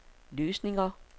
løsninger